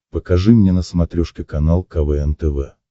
покажи мне на смотрешке канал квн тв